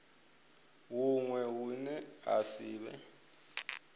huṅwe hune ha si vhe